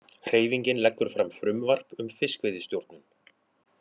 Hreyfingin leggur fram frumvarp um fiskveiðistjórnun